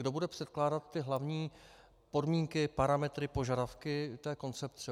Kdo bude předkládat ty hlavní podmínky, parametry, požadavky té koncepce?